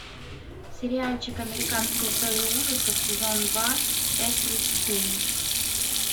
сериальчик американская история ужасов сезон два часть тридцать семь